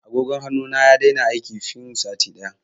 Agogon hannu na ya daina aiki fin sati ɗaya.